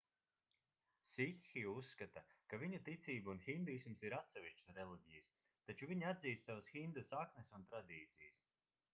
sikhi uzskata ka viņu ticība un hinduisms ir atsevišķas reliģijas taču viņi atzīst savas hindu saknes un tradīcijas